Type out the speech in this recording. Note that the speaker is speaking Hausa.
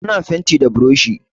Ana fenti da buroshi.